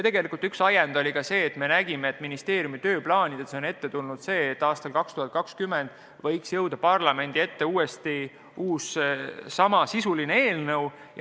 Tegelikult üks ajend oli see, et me nägime, et ministeeriumi tööplaanides on kirjas, et aastal 2020 võiks parlamenti jõuda uus samasisuline eelnõu.